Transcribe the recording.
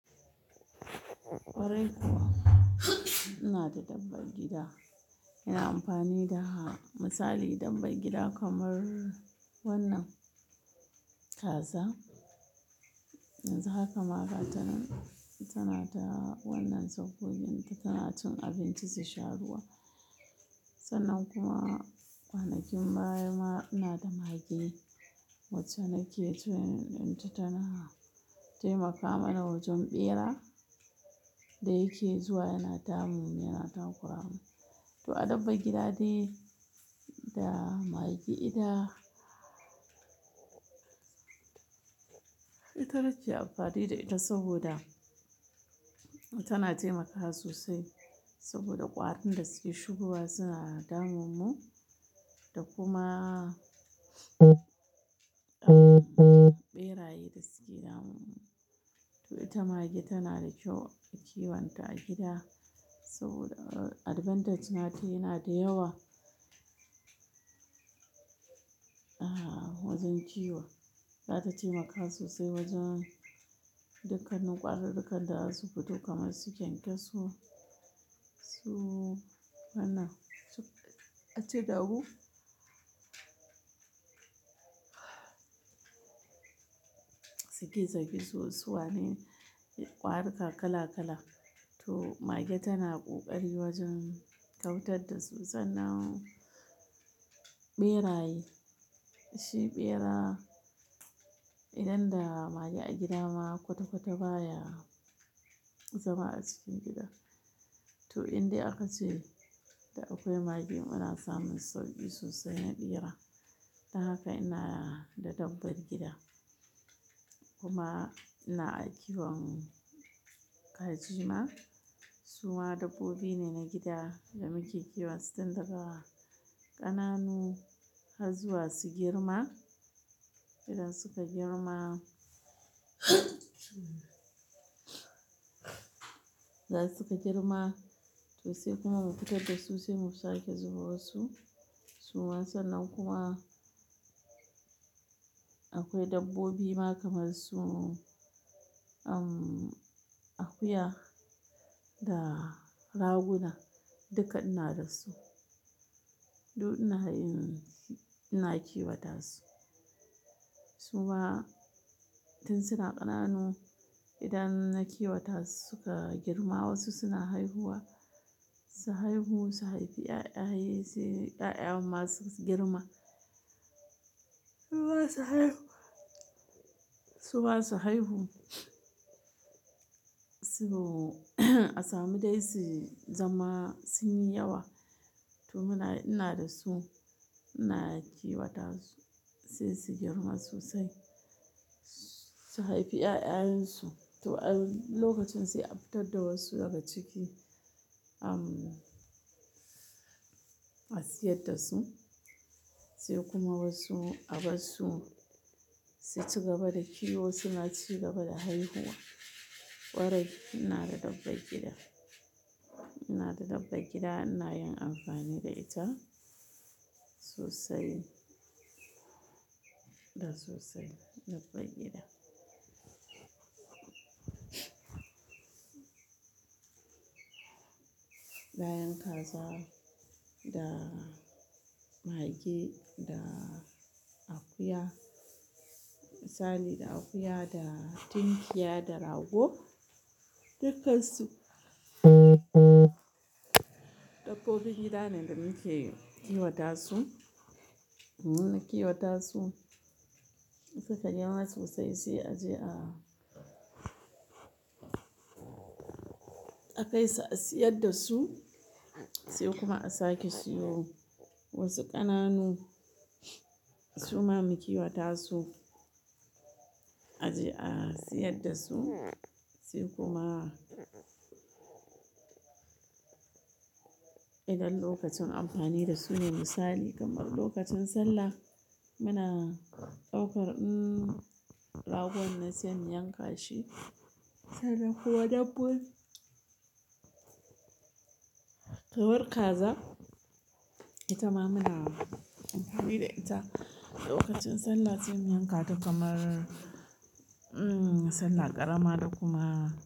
Kwarai kuwa, ina da dabban gida ina amfani da ha misali dabbai gida kamar wannan kaza. Yanzu haka ma ga tanan, tana ta wannan sabgogin ta tana cin abinci su sha ruwa. Sannan kuma kwanakin baya ma ina da mage wacce nake training inta tana taimakama na wajen ɓera da yake zuwa yana damu yana takura mu. To a dabban gida de da mage da ita nake amfani da ita saboda tana taimakawa sosai saboda ƙwarin da suke shigowa suna damun mu da kuma ɓera ye dasuke damun mu. To ita mage tana da kyau a kiwonta a gida saboda advantage nata yana da yawa. Ah wajen kiwo, za ta taimaka sosai wajen dukkanin ƙwari ru kan da za su fito kamar su kyankyaso su wannan, a ce da wo suke zagi suwane ƙwarika kala kala. To mage tana ƙoƙari wajen kauitar da su sannan ɓera ye, shi ɓera idan da mage a gida ma kwata-kwata baya zama a cikin gida. To in dai aka ce da akwai mage ana samun sauƙi sosai na ɓera. Don haka ina da dabbar gida kuma ina a kiwon kajima. Su ma dabbobi ne na gida da muke kiwon su tun daga ƙananu har zuwa su girma. Idan suka girma za su ka girma to sai kuma mu fitar da su sai mu sake zubo su. Suma sannan kuma akwai dabbobi ma kamar su um akuya da raguna dukka ina da su. Duk ina yin, ina kiwata su. Su ma tun suna ƙananu idan na kiwata su suka girma wasu suna haihuwa, su haihu su haifi 'ya'ya, 'ya'ya masu girma. Su zasu haihu, su masu haihu su asa mu dai su zama su yi yawa. To muna ina da su ina kiwata su sai su girma sosai su haifi 'ya'yansu. To a lokacin sai a fitar da wasu daga ciki um a siyar da su, sai kuma wasu a bar su su ci gaba da kiwo suna ci gaba da haihuwa. Kwarai ina da dabban gida, ina da dabba gida ina yin amfani da ita sosai da sosai dabba gida. Ba yan kaza da mage da akuya misali da akuya da tinkiya da rago dukkan su dabbobin gida ne da muke kiwata su. Muna kiwata su suka girma sosai sai a je a a kai a siyar da su sai kuma a sake siyo wasu ƙananu. Su ma mukiwata su a je a siyar da su sai kuma idan lokacin amfani da su ne misali kamar lokacin sallah muna ɗaukar um ragon na sai mu yanka shi sannan kuma dabbo kamar kaza ita ma muna amfani da ita lokacin sallah sai mu yanka ta kamar um sallah ƙarama da kuma.